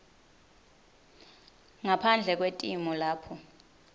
ngaphandle kwetimo lapho